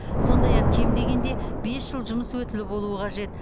сондай ақ кем дегенде бес жыл жұмыс өтілі болуы қажет